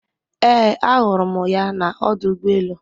Ee ahụrụ m ya na ọdụ ụgbọ elu